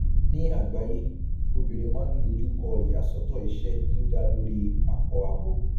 ní àgbáyé obìnrin máa n dojú kọ ìyàsọtọ iṣẹ tó dá lórí akọabo